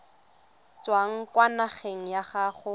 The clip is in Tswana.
tswang kwa ngakeng ya gago